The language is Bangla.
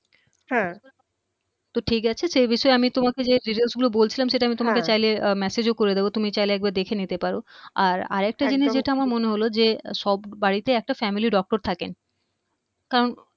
হ্যা তো ঠিক আছে সে বিষয়ে আমি তোমাকে যে details গুলো বলছিলাম সেটা আমি হ্যা তোমাকে চাইলে অ্যা message ও করে দিব তুমি চাইলে একবার দেখে নিতে পারো আর আরেকটা জিনিস যেটা আমার মনে হলো যে সব বাড়িতে একটা family doctor থাকেন কারণ